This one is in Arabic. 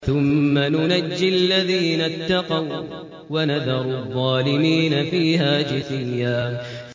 ثُمَّ نُنَجِّي الَّذِينَ اتَّقَوا وَّنَذَرُ الظَّالِمِينَ فِيهَا جِثِيًّا